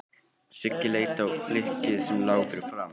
Siggi leit á flykkið sem lá fyrir framan hann.